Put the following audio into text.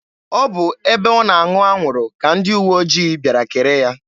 Ọ bụ ebe ọ na-aṅụ anwụrụ ka ndị uwe ojii bịara kere ya.